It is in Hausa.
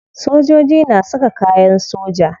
Sojoji na saka kayan soja.